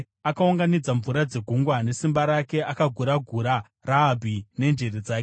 Akaunganidza mvura dzegungwa nesimba rake; akagura-gura Rahabhi nenjere dzake.